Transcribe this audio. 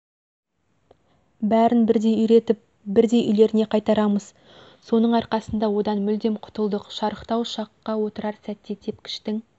бәрін бірдей үйретіп бірдей үйлеріне қайтарамыз соның арқасында одан мүлдем құтылдық шарықтау ұшаққа отырар сәтте тепкіштің